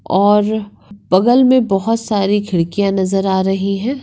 और बगल में बहुत सारी खिड्किया नजर आ रही है।